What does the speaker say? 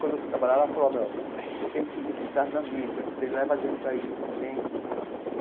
Quando eu fui trabalhar lá, ele falou ó meu, você tem que entrar na mídia, que você leva jeito para isso você tem e.